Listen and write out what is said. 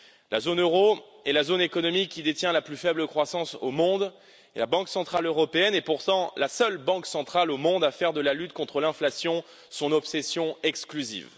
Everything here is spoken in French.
La zone euro est la zone économique qui détient la plus faible croissance au monde et la Banque centrale européenne est pourtant la seule banque centrale au monde à faire de la lutte contre l'inflation son obsession exclusive.